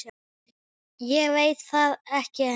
Ég veit það ekki ennþá.